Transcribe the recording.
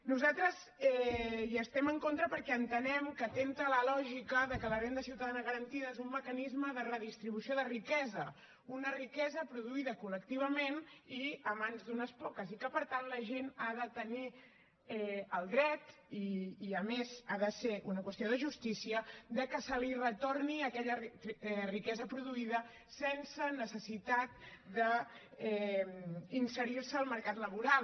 nosaltres hi estem en contra perquè entenem que atempta a la lògica de que la renda ciutadana garantida és un mecanisme de redistribució de riquesa una riquesa produïda col·lectivament i a mans d’unes poques i que per tant la gent ha de tenir el dret i a més ha de ser una qüestió de justícia de que se li retorni aquella riquesa produïda sense necessitat d’inserir se al mercat laboral